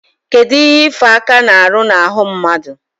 Kedu ife aka na-aru na-ahụ mmadu?